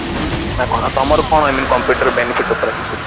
ନା କଣ ନା ତମର କଣ I mean computer benefit ଉପରେ କିଛି